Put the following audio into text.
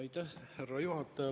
Aitäh, härra juhataja!